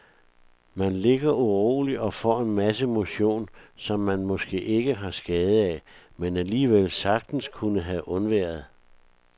Man ligger uroligt og får en masse motion, som man måske ikke har skade af, men alligevel sagtens kunne have undværet.